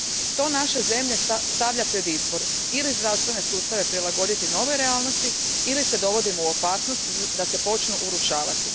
To naše zemlje stavlja pred izbor ili zdravstvene sustave prilagoditi novoj realnosti ili se dovodimo u opasnost da se počnu urušavati.